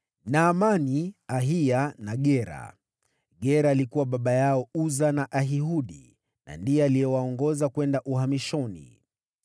Naamani, Ahiya na Gera. Gera alikuwa baba yao Uza na Ahihudi na ndiye aliwaongoza kwenda uhamishoni.